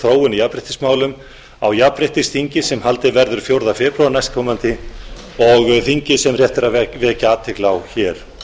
þróun í jafnréttismálum á jafnréttisþingi sem haldið verður fjórða febrúar næstkomandi og þingi sem rétt er að vekja athygli á hér